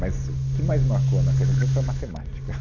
Mas o que mais marcou na Caetano de Campos foi a matemática.